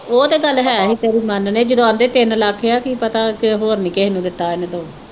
ਉਹ ਤੇ ਗੱਲ ਹੈ ਆ ਤੇਰੀ ਮੰਨਦੇ ਜਦੋਂ ਆਪਦੇ ਤਿੰਨ ਲੱਖ ਆ ਕੀ ਪਤਾ ਹੋਰ ਨੀ ਕਿਹੇ ਹੋਰ ਨੀ ਕਿਹੇ ਨੂੰ ਦਿੱਤਾ ਇਹਨੇ ਦੋ